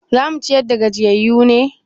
Za mu ciyar da gajiyayyu ne?